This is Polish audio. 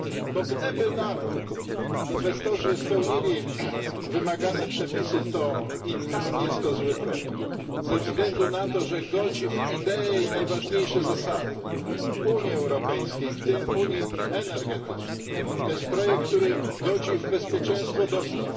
bo gdyby nawet inwestorzy spełnili wymagane przepisy, to i tak jest to zły projekt ze względu na to, że godzi w ideę i najważniejsze zasady Unii Europejskiej, w tym unii energetycznej. To jest projekt, który godzi w bezpieczeństwo dostaw.